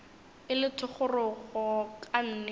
e le thogorogo ka nnete